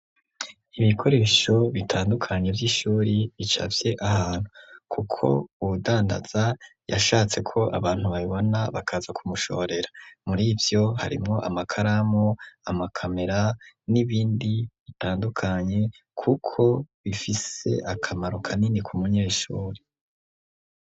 ibikoresho bitandukanye vy'ishuri bicafye ahantu, kuko uwudandaza yashatse ko abantu babibona bakaza kumushorera, muri ivyo harimwo amakaramu, amakamera n'ibindi bitandukanye kuko bifise akamaro kanini ku munyeshure.